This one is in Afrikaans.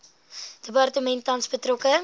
departement tans betrokke